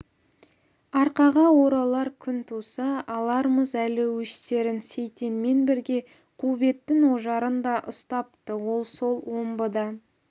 арқаға оралар күн туса алармыз әлі өштерін сейтенмен бірге қубеттің ожарын да ұстапты ол сол омбыда